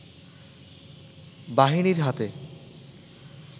বাহিনীর হাতে